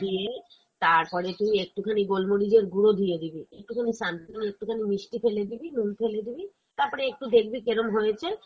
দিয়ে, তারপরে তুই একটু খানি গোলমরিচের গুঁড়ো দিয়ে দিবি একটু খানি something একটুখানি মিষ্টি ফেলে দিবি, নুন ফেলে দিবি তারপরে একটু দেখবি কেরম হয়েছে